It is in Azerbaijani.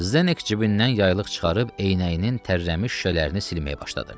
Zdek cibindən yaylıq çıxarıb eynəyinin tərləmiş şüşələrini silməyə başladı.